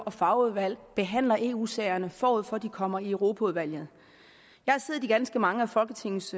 og fagudvalg behandler eu sagerne forud for at de kommer i europaudvalget jeg har siddet i ganske mange af folketingets